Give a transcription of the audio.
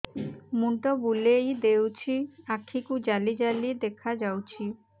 ମୁଣ୍ଡ ବୁଲେଇ ଦେଉଛି ଆଖି କୁ ଜାଲି ଜାଲି ଦେଖା ଯାଉଛି